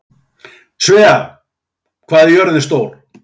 Svea, hvað er jörðin stór?